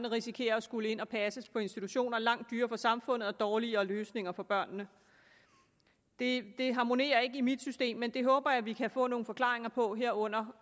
risikerer at skulle ind og passes i institutioner langt dyrere for samfundet og dårligere løsninger for børnene det harmonerer ikke i mit system men det håber jeg vi kan få nogle forklaringer på her under